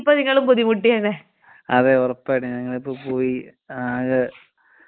അതേ ഒറപ്പായിട്ടും ഞങ്ങളിപ്പൊ പോയീ ആകെ അലമ്പ് ആയി പോയേനെ ഇപ്പൊ.